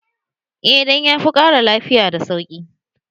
Eh dan ya fi ƙara lafiya da sauki